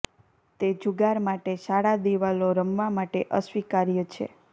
તે જુગાર માટે શાળા દિવાલો રમવા માટે અસ્વીકાર્ય છે